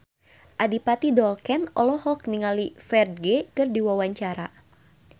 Adipati Dolken olohok ningali Ferdge keur diwawancara